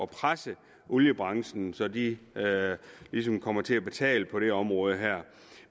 presse oliebranchen så de ligesom kommer til at betale på det område her